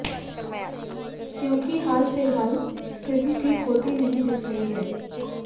क्योंकि हाल फिलहाल स्थिति ठीक होती नहीं दिख रही है